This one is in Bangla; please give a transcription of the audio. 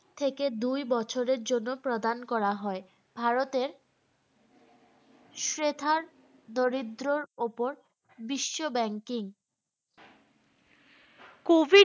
থেকে দুই বছরের জন্য প্রদান করা হয় ভারতের দরিদ্রর ওপর বিশ্ব banking COVID